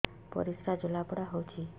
ପରିସ୍ରା ଜଳାପୋଡା ହଉଛି